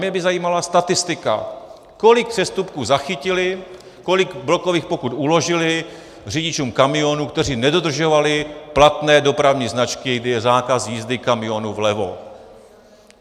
Mě by zajímala statistika, kolik přestupků zachytili, kolik blokových pokut uložili řidičům kamionů, kteří nedodržovali platné dopravní značky, kdy je zákaz jízdy kamionů vlevo.